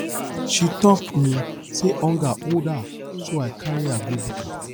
she tok um sey hunger hold her so i carry her go buka